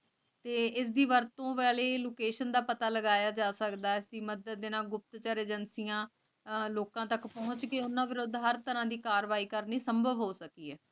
ਤੇ ਇਸ ਦੀ ਵਰਤੋਂ ਵਾਲੀ ਲੁਕੇਸ਼ਨ ਦਾ ਪਤਾ ਲਗਾਇਆ ਜਾ ਸਕਦਾ ਸੀ ਮੱਦਦ ਦੇਣਾ ਬੁੱਟਰ ਨਾਲ ਗੁਪਤ ਚਾਰ ਅਗੇੰਕਿਯਾਂ ਲੋਕਾਂ ਤਕ ਪੋਹੰਚ ਕੇ ਓਨਾਂ ਦੇ ਨਾਲ ਹਰ ਤਰਹ ਦੇ ਕਾਰਵਾਈ ਕਰਨੀ ਸੰਭਵ ਹੋ ਸਕੀ ਆ